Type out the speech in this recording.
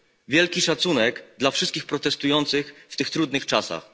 Wielki szacunek dla wszystkich protestujących w tych trudnych czasach.